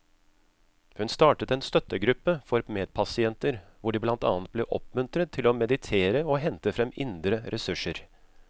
Hun startet en støttegruppe for medpasienter hvor de blant annet ble oppmuntret til å meditere og hente frem indre ressurser.